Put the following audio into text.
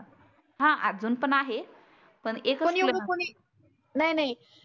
हा आजुन पण आहे. पण एकच नाही नाही